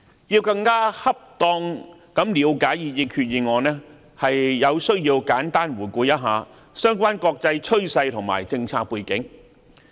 要更恰當地了解擬議決議案，有需要簡單回顧相關國際趨勢和政策背景。